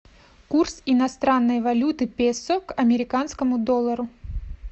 курс иностранной валюты песо к американскому доллару